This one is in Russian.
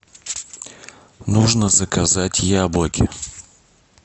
нужно заказать яблоки